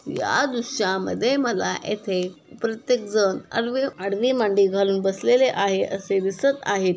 या दृश्यामध्ये मला येथे प्रत्येक जन आरवे आडवी मांडी घालून बसलेले आहे असे दिसत आहेत.